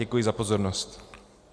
Děkuji za pozornost.